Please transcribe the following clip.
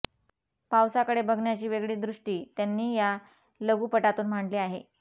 पावसाकडे बघण्याची वेगळी दृष्टी त्यांनी या लघुपटातून मांडली आहे